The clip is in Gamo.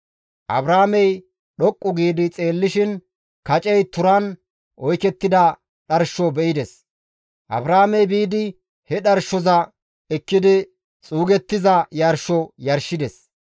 Abrahaamey dhoqqu giidi xeellishin kacey turan oykettida dharsho be7ides; Abrahaamey biidi he dharshoza ekkidi xuugettiza yarsho yarshides.